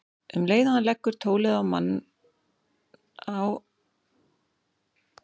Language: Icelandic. Um leið og hann leggur tólið á kemur mamma hans í gættina í svefnherbergis- dyrunum.